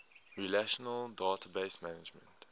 relational database management